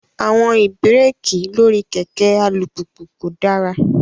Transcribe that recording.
Àwọn ibẹ̀rẹ̀kì lórí kẹ̀kẹ́ alùpùpù kò dára.